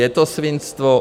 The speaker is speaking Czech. Je to svinstvo.